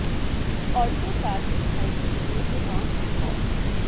Alto car के खाई में गिरने से पांच की मौत